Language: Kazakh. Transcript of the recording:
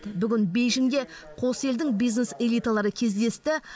бүгін бейжіңде қос елдің бизнес элиталары кездесті